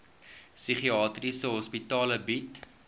psigiatriese hospitale bied